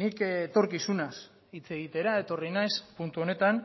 nik etorkizunaz hitz egitera etorri naiz puntu honetan